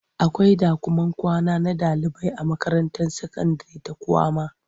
Akwai ɗakuman kwana na ɗaliibai a makaranta sakandire ta kwama.